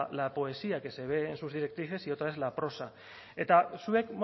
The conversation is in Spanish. la poesía que se ve en sus directrices y otra es la prosa eta zuek